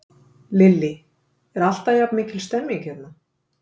Lillý: Er alltaf jafn mikil stemning hérna?